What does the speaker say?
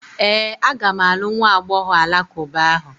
Ee, aga m alụ nwa agbọghọ alakụba ahụ.